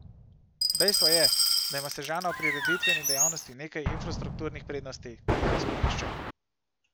Dejstvo je, da ima Sežana v prireditveni dejavnosti nekaj infrastrukturnih prednosti, ki jih izkorišča.